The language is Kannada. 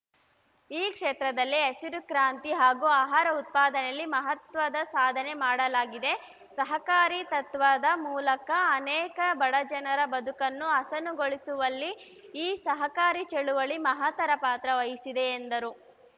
ಈ ಕ್ಷೇತ್ರದಲ್ಲಿ ಹಸಿರು ಕ್ರಾಂತಿ ಹಾಗೂ ಆಹಾರ ಉತ್ಪಾದನೆಯಲ್ಲಿ ಮಹತ್ವದ ಸಾಧನೆ ಮಾಡಲಾಗಿದೆ ಸಹಕಾರಿ ತತ್ವದ ಮೂಲಕ ಅನೇಕ ಬಡಜನರ ಬದುಕನ್ನು ಹಸನುಗೊಳಿಸುವಲ್ಲಿ ಈ ಸಹಕಾರಿ ಚಳುವಳಿ ಮಹತ್ತರ ಪಾತ್ರ ವಹಿಸಿದೆ ಎಂದರು